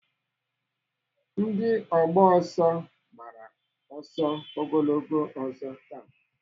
Ndị ọgba ọsọ gbara ọsọ ogologo ọzọ taa.